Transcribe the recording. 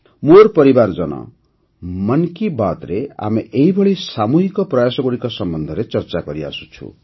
ମୋର ପରିବାରଜନ ମନ୍ କି ବାତ୍ରେ ଆମେ ଏହିଭଳି ସାମୂହିକ ପ୍ରୟାସଗୁଡ଼ିକ ସମ୍ବନ୍ଧରେ ଚର୍ଚ୍ଚା କରିଆସୁଛୁ9